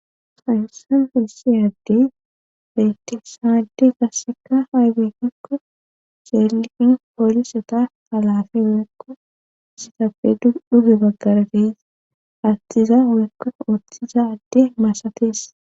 Sayussan feessiadde betisa adde gasseka haybekikko celliqin poolisota galafe hoekko sitape dduge baggara deisa attiza uekko oththiza adde maasatees.